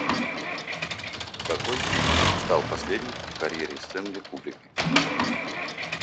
какой фильм стал последним в карьере стэнли кубрика